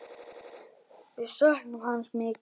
Við söknum hans mikið.